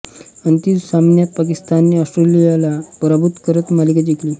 अंतिम सामन्यात पाकिस्तानने ऑस्ट्रेलियाला पराभूत करत मालिका जिंकली